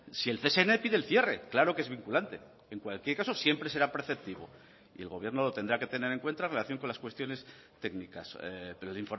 si el csn pide el cierre claro que es vinculante en cualquier caso siempre será preceptivo y el gobierno lo tendrá que tener en cuenta en relación con las cuestiones técnicas pero el